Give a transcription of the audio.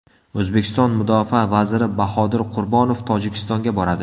O‘zbekiston mudofaa vaziri Bahodir Qurbonov Tojikistonga boradi.